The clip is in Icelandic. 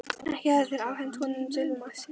Ekki hefðu þeir afhent honum dulmálslykil.